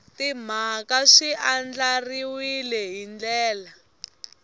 timhaka swi andlariwile hi ndlela